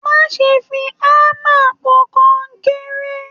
Má ṣe fí hámà pò kọnkéré!